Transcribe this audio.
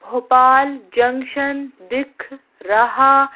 Bhopal junction दिख रहा--